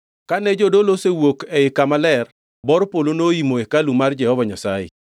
Kane jodolo osewuok ei Kama Ler, bor polo noimo hekalu mar Jehova Nyasaye,